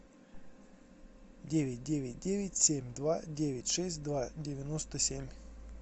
девять девять девять семь два девять шесть два девяносто семь